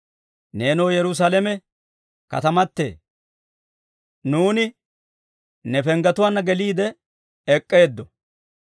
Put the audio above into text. Neenoo Yerusaalame katamatee, nuuni ne penggetuwaanna geliide ek'k'eeddo!